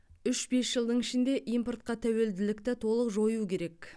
үш бес жылдың ішінде импортқа тәуелділікті толық жою керек